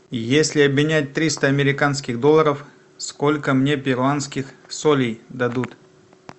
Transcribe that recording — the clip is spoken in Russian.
если обменять триста американских долларов сколько мне перуанских солей дадут